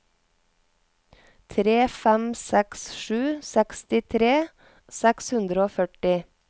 tre fem seks sju sekstitre seks hundre og førti